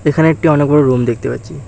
এখানে একটি অনেক বড়ো রুম দেখতে পাচ্চি।